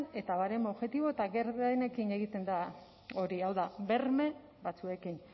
eta baremo objektibo eta gardenekin egiten da hori hau da berme batzuekin